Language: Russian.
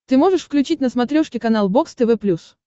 ты можешь включить на смотрешке канал бокс тв плюс